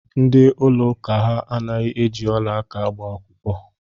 Ndị ụlọ ụka ha anaghị eji ọla aka agba akwụkwọ.